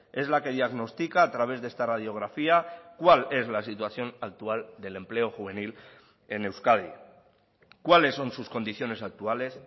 es la que diagnostica a través de esta radiografía cuál es la situación actual del empleo juvenil en euskadi cuáles son sus condiciones actuales